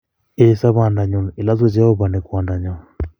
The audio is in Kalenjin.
Ee, sobondo nyun, ilosu Jehovah ne Kwandanyo